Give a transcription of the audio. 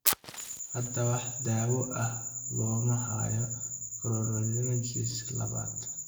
Hadda wax daawo ah looma hayo chondrocalcinosis labaad.